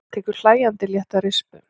Tekur hlæjandi létta rispu.